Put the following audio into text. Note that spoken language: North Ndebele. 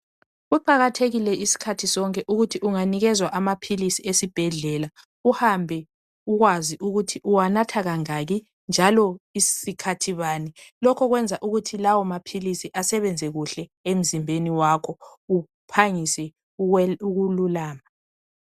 Kuqakathekile iskhathi sonke ukuthi unganikezwa amaphilisi esibhedlela uhambe ukwazi ukuthi uwanatha kangaki njalo sikhathi bani lokho kwenza ukuthi lawo maphilisi asebenze kujle emzimbeji wakho uphangise ukululama